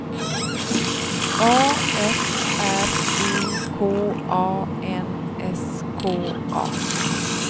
A F R I K A N S K A